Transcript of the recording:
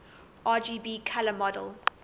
rgb color model